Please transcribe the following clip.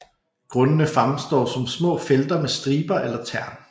Grundene fremstår som små felter med striber eller tern